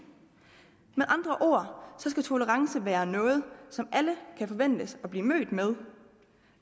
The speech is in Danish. med andre ord skal tolerance være noget som alle kan forventes at blive mødt med